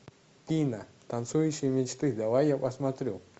пина танцующие мечты давай я посмотрю